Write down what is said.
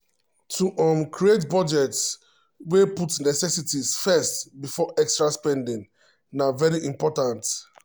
to um create budget wey put necessities first before extra spending na very important.